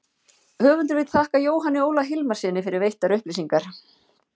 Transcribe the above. höfundur vill þakka jóhanni óla hilmarssyni fyrir veittar upplýsingar